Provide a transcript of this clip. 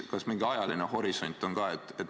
Kas mingi ajaline horisont on ka?